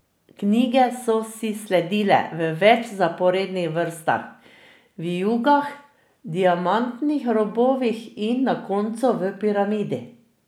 Knjige so si sledile v več vzporednih vrstah, vijugah, diamantnih robovih in na koncu v piramidi.